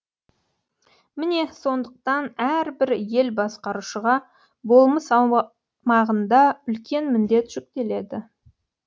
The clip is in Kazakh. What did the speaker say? міне сондықтан әрбір ел басқарушыға болмыс аумағында үлкен міндет жүктеледі